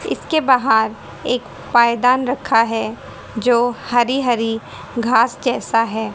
इसके बाहर एक पायदान रखा है जो हरी हरी घास जैसा है--